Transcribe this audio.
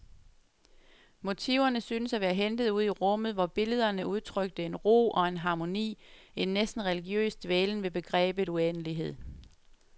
Motiverne syntes at være hentet ude i rummet, hvor billederne udtrykte en ro og en harmoni, en næsten religiøs dvælen ved begrebet uendelighed.